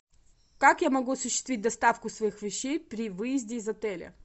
как я могу осуществить доставку своих вещей при выезде из отеля